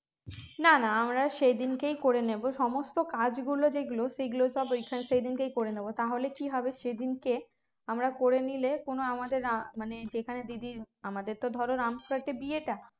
না না আমরা সেই দিনকেই করে নেব সমস্ত কাজ গুলো যে গুলো সেগুলো সব সেই দিনকেই করে নেব তাহলে কি হবে সেই দিনকে করে নিলে কোন আমাদের আহ মানে সেখানে দিদির আমাদের তো ধরো রামপুরহাটে বিয়েটা